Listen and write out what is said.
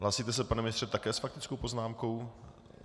Hlásíte se, pane ministře, také s faktickou poznámkou?